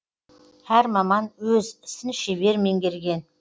әр маман өз ісін шебер меңгерген